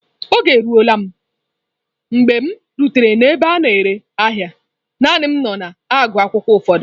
Oge eruola m mgbe m rutere n'ebe a na-ere ahịa, naanị m nọ na-agụ akwụkwọ ụfọdụ